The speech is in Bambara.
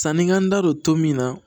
Sanni n ka n da don to min na